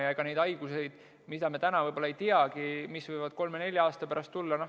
Ja ega me neid kõiki haigusi täna võib-olla ei teagi, mis võivad kolme-nelja aasta pärast tulla.